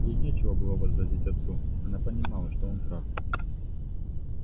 ей нечего было возразить отцу она понимала что он прав